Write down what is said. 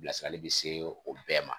Bilasirali bi se o bɛɛ ma.